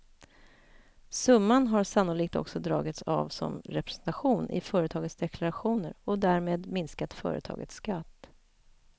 Summan har sannolikt också dragits av som representation i företagens deklarationer och därmed minskat företagens skatt.